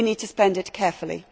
We need to spend it carefully.